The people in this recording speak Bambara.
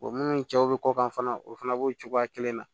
munnu cɛw bi kɔkan fana o fana b'o cogoya kelen na